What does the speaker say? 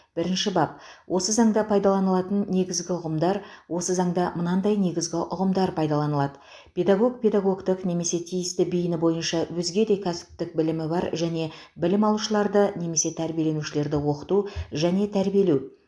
бірінші бап осы заңда пайдаланылатын негізгі ұғымдар осы заңда мынадай негізгі ұғымдар пайдаланылады педагог педагогтік немесе тиісті бейіні бойынша өзге де кәсіптік білімі бар және білім алушыларды немесе тәрбиеленушілерді оқыту және тәрбиелеу